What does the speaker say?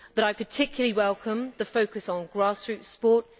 But I particularly welcome the focus on grassroots sport.